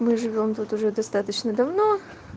мы живём тут уже достаточно давно